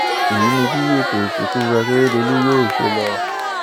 èyí ni bí ètò ìsìnkú akérèdọlù yóò ṣe lọ